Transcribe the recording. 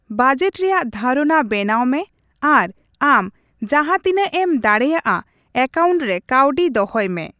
Budget ᱨᱮᱭᱟᱜ ᱫᱷᱟᱨᱚᱱᱟ ᱵᱮᱱᱟᱣ ᱢᱮ ᱟᱨ ᱟᱢ ᱡᱟᱸᱦᱟ ᱛᱤᱱᱟᱹᱜ ᱮᱢ ᱫᱟᱲᱮᱭᱟᱜᱼᱟ ᱮᱠᱟᱣᱩᱱᱴ ᱨᱮ ᱠᱟᱹᱣᱰᱤ ᱫᱚᱦᱚᱭ ᱢᱮ ᱾